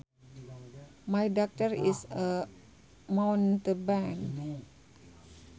My doctor is a mountebank